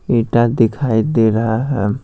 इटा दिखाई दे रहा है।